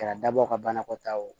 Kɛra dabɔ ka banakɔta ye o